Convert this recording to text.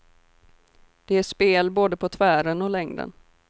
Det är spel både på tvären och längden.